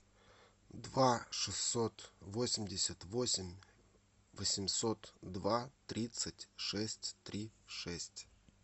два шестьсот восемьдесят восемь восемьсот два тридцать шесть три шесть